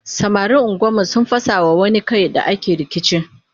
samarin unguwar mu sun fasa ma wani Kai da ake rikici